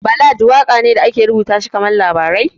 Ballad waƙa ne da ake rubuta shi kaman labarai